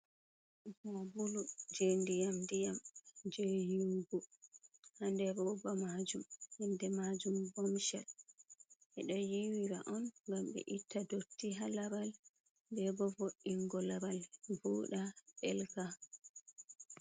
Sabulu je ndiyam ndiyam, je yiwugo ha nder roba majum. Inde majum Bomshel. Ɓe do yiwira on ngam ɓe itta dotti ha laral bebo vo'ingo laral vuda ɗelka.